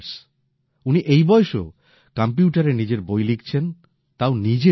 উনি এই বয়সেও কম্পিউটারে নিজের বই লিখছেন তাও নিজে টাইপ করে